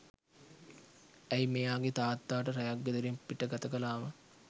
ඇයි මෙයාගේ තාත්තා ට රැයක් ගෙදරින් පිට ගතකලාම